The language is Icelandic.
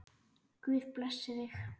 Guð blessi þig.